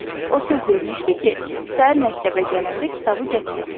O söz vermişdi ki, səhər məktəbə gələndə kitabı gətirəcək.